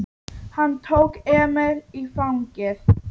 Hann tók Emil í fangið.